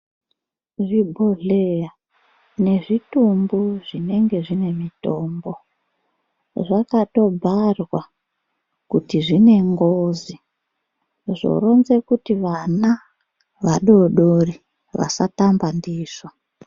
Zvibhodhleya nezvitombo zvinenge zvine mitombo zvakatobharwa kuti zvinengozi zvounza kuti vana vadodore vasatamba ndizvo.